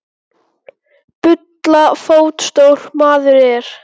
Bulla fótstór maður er.